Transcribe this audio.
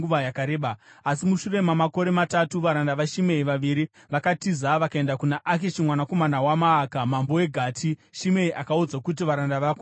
Asi mushure mamakore matatu, varanda vaShimei vaviri vakatiza vakaenda kuna Akishi mwanakomana waMaaka, mambo weGati, Shimei akaudzwa kuti, “Varanda vako vari kuGati.”